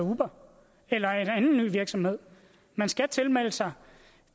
uber eller en anden ny virksomhed man skal tilmelde sig